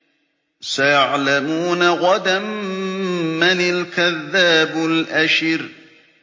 سَيَعْلَمُونَ غَدًا مَّنِ الْكَذَّابُ الْأَشِرُ